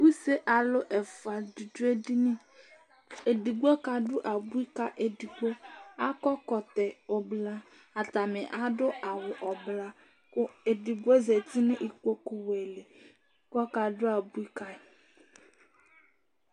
Use alu ɛfʋa di adu ɛdiní Ɛdigbo ka du abʋi kʋ ɛdigbo Akɔ ɛkɔtɔ ɛblɔ Atani adu awu ɛblɔ kʋ ɛdigbo zɛti nʋ ikpoku wɛ li kʋ ɔka du abʋi ka yi